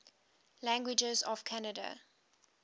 languages of canada